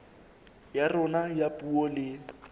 ya rona ya puo le